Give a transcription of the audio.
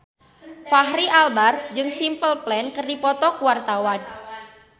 Fachri Albar jeung Simple Plan keur dipoto ku wartawan